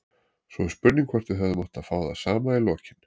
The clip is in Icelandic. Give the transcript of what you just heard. Svo er spurning hvort við hefðum átt að fá það sama í lokin.